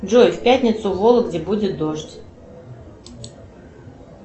джой в пятницу в вологде будет дождь